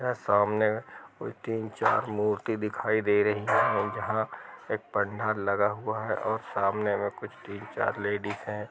यह सामने कोई तीन चार मूर्ति दिखाई दे रही हैं जहाँ एक पंडहर लगा हुआ हैं और सामने कुछ तीन चार लेडिज हैं।